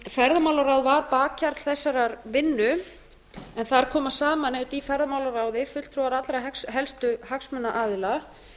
ferðamálaráð var bakhjarl þessarar vinnu en þar koma saman auðvitað í ferðamálaráði fulltrúar allra helstu hagsmunaaðila